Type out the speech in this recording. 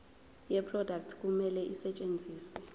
yeproduct kumele isetshenziswe